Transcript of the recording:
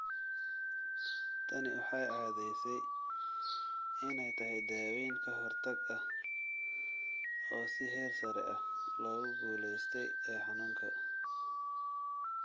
Tani waxay caddaysay inay tahay daaweyn ka hortag ah oo si heer sare ah loogu guulaystay ee xanuunka.